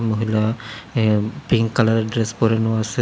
মহিলা a pink কালারের dress পরানো আসে।